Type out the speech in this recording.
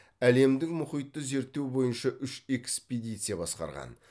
әлемдің мұхитты зерттеу бойынша үш экспедиция басқарған